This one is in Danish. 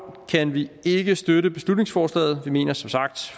kan vi ikke støtte beslutningsforslaget vi mener som sagt